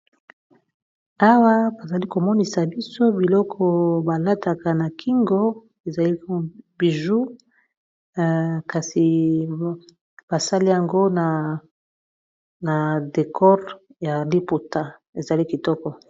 awa bazali komonisa biso biloko balataka na kingo ezalibiju kasi basali yango na decore ya liputa ezali kitoko